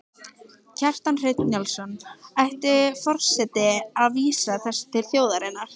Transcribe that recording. Kjartan Hreinn Njálsson: Ætti forseti að vísa þessu til þjóðarinnar?